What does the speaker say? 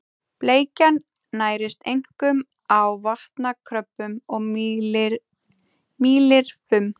Bleikjan nærist einkum á vatnakröbbum og mýlirfum.